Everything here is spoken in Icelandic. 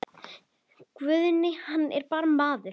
Guðni hann er bara maður.